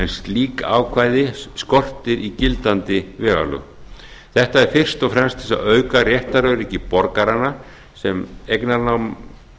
slík ákvæði skortir í gildandi vegalögum þetta er fyrst og fremst til þess að auka réttaröryggi borgaranna sem eignarnám